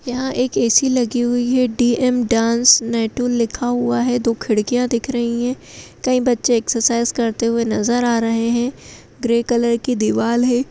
यहाँ एक ऐ.सी. लगी हुई है। डी ऐम डांस नेटू लिखा हुआ है। दो खिड़कियां दिख रही हैं कई बच्चे एक्सरसाइज करते हुए नजर आ रहे हैं। ग्रे कलर की दीवाल है।